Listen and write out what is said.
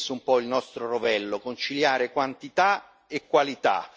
È stato questo un po' il nostro rovello conciliare quantità e qualità.